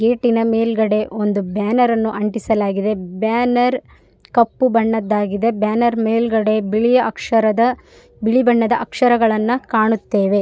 ಗೇಟಿನ ಮೇಲುಗಡೆ ಒಂದು ಬ್ಯಾನರ್‌ನ್ನು ಅಂಟಿಸಲಾಗಿದೆ ಬ್ಯಾನರ್‌ ಕಪ್ಪು ಬಣ್ಣದಾಗಿದೆ ಬ್ಯಾನರ್‌ ಮೇಲುಗಡೆ ಬಿಳಿಯ ಅಕ್ಷರದ ಬಿಳಿ ಬಣ್ಣದ ಅಕ್ಷರಗಳನ್ನು ಕಾಣುತ್ತೇವೆ.